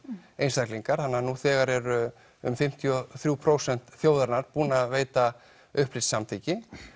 einstaklingar þannig nú þegar eru um fimmtíu og þrjú prósent þjóðarinnar búin að veita upplýst samþykki